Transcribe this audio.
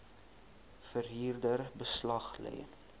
verhuurder beslag lê